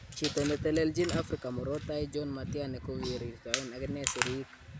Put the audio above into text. Chito netelelchin Afrika Murot Tai John Matiani kokorirtaen akine siriik.